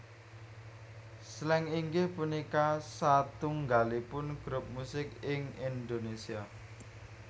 Slank inggih punika satunggalipun grup musik ing Indonesia